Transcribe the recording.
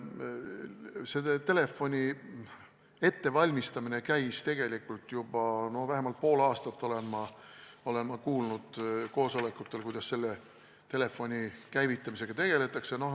Selle telefoni ettevalmistamine on käinud tegelikult juba tükk aega, vähemalt pool aastat olen ma koosolekutel kuulnud, kuidas selle käivitamisega tegeldakse.